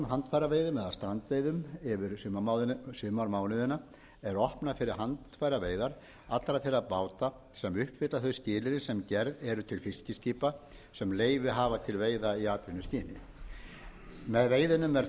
handfæraveiðum eða strandveiðum yfir sumarmánuðina er opnað fyrir handfæraveiðar allra þeirra báta sem uppfylla þau skilyrði sem gerð eru til fiskiskipa sem leyfi hafa til veiða í atvinnuskyni með veiðunum er